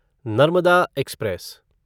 Narmada express